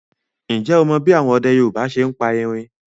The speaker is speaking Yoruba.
Ǹjẹ́ o mọ bí àwọn ọdẹ Yorùbá ṣe ń pa erin